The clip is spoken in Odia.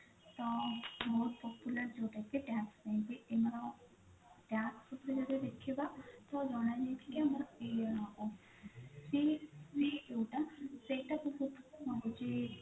ତ ବହୁତ popular ଯୋଉଟା କି tax ପାଇଁ କି ଆମର tax ଉପରେ ଯଦି ଦେଖିବା ତ ଜଣାଯାଉଛି କି ଆମର ଯୋଉଟା ସେଇଟା ରହୁଛି